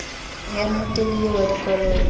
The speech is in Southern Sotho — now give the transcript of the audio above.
ya mmokelli eo wa dikoloto